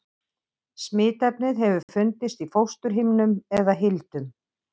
Smitefnið hefur fundist í fósturhimnum eða hildum.